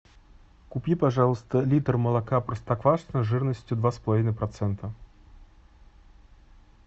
купи пожалуйста литр молока простоквашино жирностью два с половиной процента